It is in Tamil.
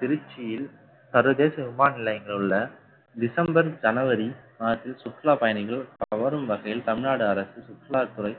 திருச்சியில் சர்வதேச விமான நிலையங்களில் உள்ள டிசம்பர் ஜனவரி மாதத்தில் சுற்றுலா பயணிகள், கவரும் வகையில் தமிழ்நாடு அரசு சுற்றுலாத்துறை